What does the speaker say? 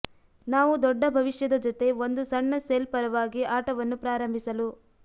ನಾವು ದೊಡ್ಡ ಭವಿಷ್ಯದ ಜೊತೆ ಒಂದು ಸಣ್ಣ ಸೆಲ್ ಪರವಾಗಿ ಆಟವನ್ನು ಪ್ರಾರಂಭಿಸಲು